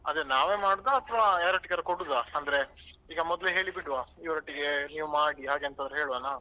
ಅದೇ ನಾವೇ ಮಾಡುದ ಅತ್ವಾ ಯಾರೊಟ್ಟಿಗಾದ್ರೂ ಕೊಡುದ ಅಂದ್ರೆ ಈಗ ಮೊದ್ಲೇ ಹೇಳಿಬಿಡ್ವಾ ಇವರೊಟ್ಟಿಗೆ ನೀವು ಮಾಡಿ ಹಾಗೆ ಅಂತಾದ್ರೂ ಹೇಳ್ವನಾ.